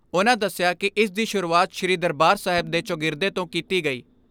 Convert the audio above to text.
ਉਨ੍ਹਾਂ ਦਸਿਆ ਕਿ ਇਸ ਦੀ ਸ਼ੁਰੂਆਤ ਸ੍ਰੀ ਦਰਬਾਰ ਸਾਹਿਬ ਦੇ ਚੌਗਿਰਦੇ ਤੋਂ ਕੀਤੀ ਗਈ।